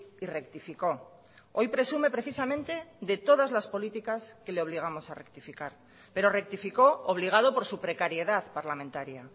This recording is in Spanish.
y rectificó hoy presume precisamente de todas las políticas que le obligamos a rectificar pero rectificó obligado por su precariedad parlamentaria